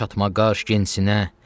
gur çatma qaş gənc sinə.